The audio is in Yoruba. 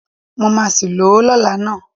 Mo máa sì lò ó lọ́la ná.